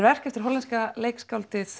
verk eftir hollenska leikskáldið